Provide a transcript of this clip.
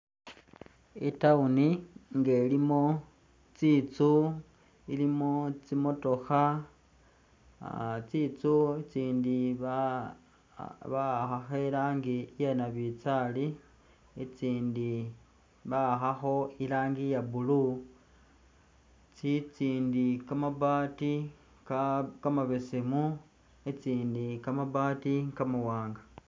i'town nga ilimo tsitsu, ilimo tsi'motokha, ah tsitsu itsindi ba bawakhakho iranji iye nabinzari itsindi bawakhakho iranji iya blue, tsitsindi kamabaati ka kamabeseemu, tsitsindi kamabaati kamawanga.